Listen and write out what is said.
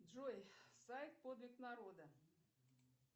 джой сайт подвиг народа